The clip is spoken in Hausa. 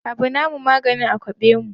Abu na mu maganin a kwaɓe mu